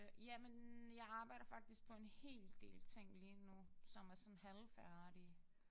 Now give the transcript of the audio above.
Jamen jeg arbejder faktisk på en hel del ting lige nu som er sådan halvfærdige